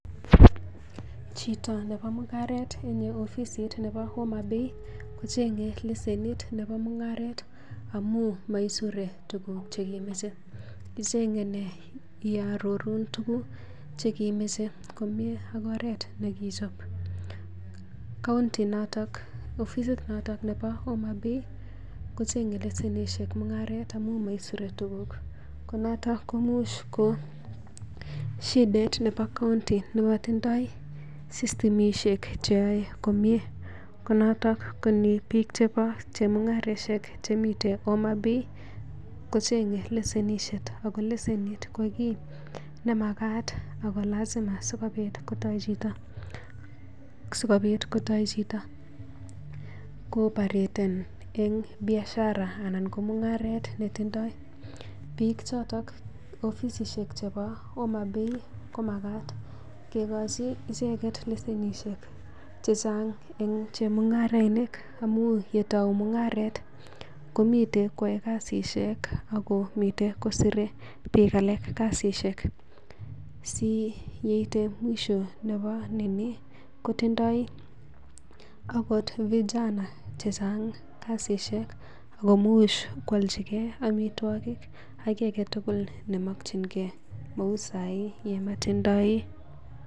Chito nebo mung'aret en ofisit nebo Homabay, kocheng'e lesenit nebo mung'aret amun maisure tuguk chekemoche. Kecheng'e nee yo arorun tuguk che kemoche komi ak oret nekichob county inoton, ofisit noto nebo Homabay kocheng'e lesenishek mung'aret amun moisure tuguk konoto komuch ko shidait nebo county nemotindoi systemishek che yoe komye ko noton ko ni biik chebo chemung'araishek chemiten Homabay kocheng'e lesenishek ago lesenit ko kit nemagat ago lazima sigobiit kotou chito koopareten en biashara anan ko mung'aret netindoi. Biik choto, ofisishek chebo Homabay komagat kegochi icheget lesenishek che chang en chemung'arainik amun uiy ketou mung'aret komiten koyae kasishek agomiten kosire biik alak kasishek. Si yeite mwisho nebo ineni kotindoi agot vijana chechang kasishek agomuch koaljige amitwogik ak kiy age tugul nemokinge. Kou saii komotindoi...